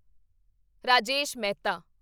Rajesh Mehta